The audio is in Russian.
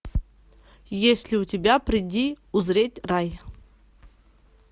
есть ли у тебя приди узреть рай